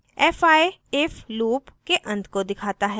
fi if loop के अंत को दिखाता है